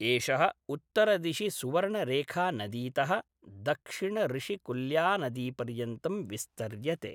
एषः उत्तरदिशि सुवर्णरेखानदीतः दक्षिण ऋषिकुल्यानदीपर्यन्तं विस्तर्यते।